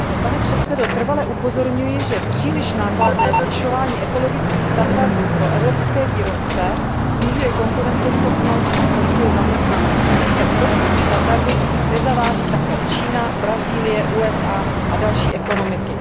Pane předsedo, trvale upozorňuji, že příliš nákladné zvyšování ekologických standardů pro evropské výrobce snižuje konkurenceschopnost a zhoršuje zaměstnanost, pokud se k podobným standardům nezaváží také Čína, Brazílie, USA a další ekonomiky.